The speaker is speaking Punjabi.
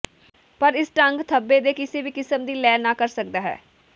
ਪਰ ਇਸ ਢੰਗ ਧੱਬੇ ਦੇ ਕਿਸੇ ਵੀ ਕਿਸਮ ਦੀ ਲੈ ਨਾ ਕਰ ਸਕਦਾ ਹੈ